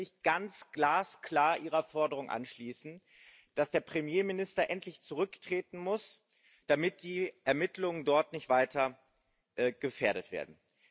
Und ich möchte mich ganz glasklar ihrer Forderung anschließen, dass der Premierminister endlich zurücktreten muss, damit die Ermittlungen dort nicht weiter gefährdet werden.